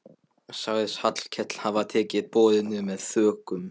Sagðist Hallkell hafa tekið boðinu með þökkum.